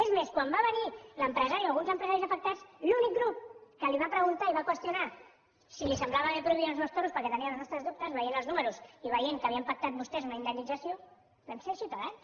és més quan va venir l’empresari o alguns empresaris afectats l’únic grup que li va preguntar i va qüestionar si li semblava bé prohibir els toros perquè en teníem els nostres dubtes veient els números i veient que havien pactat vostès una indemnització vam ser ciutadans